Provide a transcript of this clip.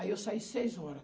Aí eu saí seis hora.